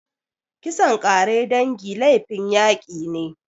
Kisan ƙare dangi laifin yaki ne.